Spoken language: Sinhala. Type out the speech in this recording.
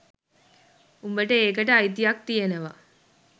උබට ඒකට අයිතියක් තියෙනවා